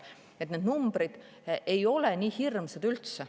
Nii et need numbrid ei ole üldse nii hirmsad.